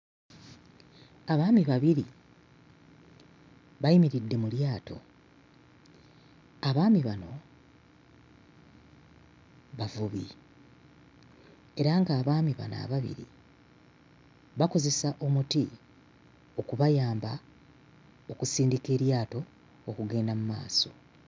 Abaami babiri bayimiridde mu lyato. Abaami bano bavubi era ng'abaami bano ababiri bakozesa omuti okubayamba okunsindika eryato okugenda mmaaso.